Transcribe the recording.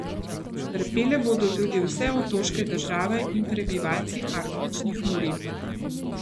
Trpele bodo tudi vse otoške države in prebivalci arktičnih območij.